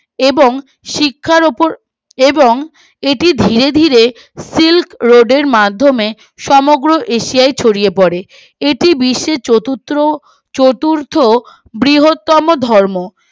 এবং শিক্ষার উপর এবং এটি ধীরে ধীরে সিল্ক রোধের মাধ্যমে সমগ্র এশিয়ার ছড়িয়ে পরে এটি বিশ্বের চতুর্থ চতুর্থ বৃহত্তম ধর্ম